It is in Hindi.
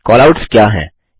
कैलआउट्स क्या हैं